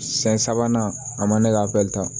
Siyɛn sabanan a man ne ka ta